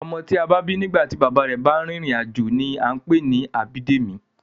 Ọmọ tí a bí nígbà tí bàbá rẹ̀ bá rìnrìn-àjò ni a ń pè ní Abídèmí